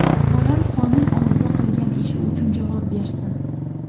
Bolam qonun oldida qilgan ishi uchun javob bersin.